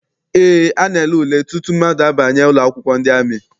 Eé, a na-ele ule tutu mmadụ abanye ụlọakwụkwọ ndị amị.